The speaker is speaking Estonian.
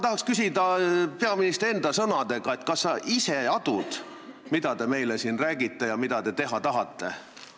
Tahan küsida peaministri enda sõnadega: kas sa ise adud, mida sa meile siin räägid ja mida sa teha tahad?